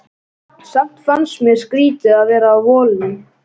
Samt fannst mér skrýtið að vera á Vogi.